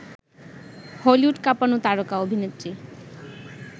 Hollywood কাঁপানো তারকা অভিনেত্রী